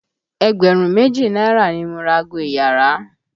Ẹgbẹ̀rún méjì náírà ni mo ra ago iyàrá.